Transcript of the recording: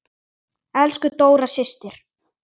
Elsku Dóra systir.